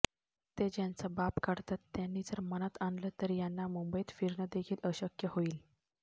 ते ज्यांचा बाप काढतात त्यांनी जर मनात आणलं तर यांना मुंबईत फिरणं देखील अशक्य होईल